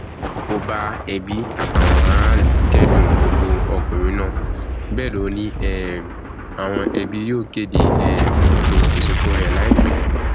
ó bá ẹbí àtàwọn aráàlú kẹdùn ikú ọkùnrin náà bẹẹ lọ ni um àwọn ẹbí yóò kéde um ètò ìsìnkú rẹ láìpẹ